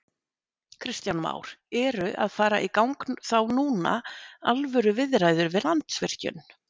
Kristján Már: Eru að fara í gang þá núna alvöru viðræður við Landsvirkjun?